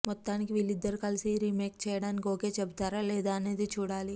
మొత్తానికి వీళ్లిద్దరు కలిసి ఈ రీమేక్ చేయడానికి ఓకే చెబుతారా లేదా అనేది చూడాలి